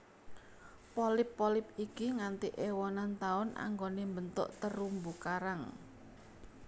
Polip polip iki nganti ewonan taun anggone mbentuk terumbu karang